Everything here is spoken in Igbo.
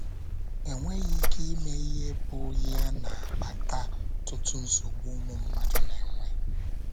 Enweghị ike ime ihe bụ ya na - akpata ọtụtụ nsogbu ụmụ mmadụ na - enwe?